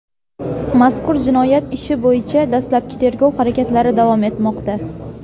Mazkur jinoyat ishi bo‘yicha dastlabki tergov harakatlari davom etmoqda.